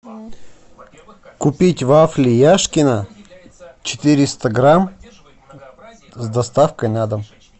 купить вафли яшкино четыреста грамм с доставкой на дом